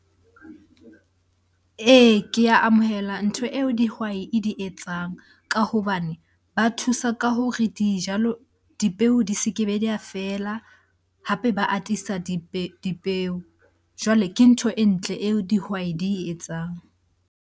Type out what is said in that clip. Ee, ke a amohela ntho eo dihwai e di etsang. Ka hobane ba thusa ka hore dijalo, dipeo di se kebe di a fela hape ba atisa dipeo. Jwale ke ntho e ntle eo dihwai di e etsang.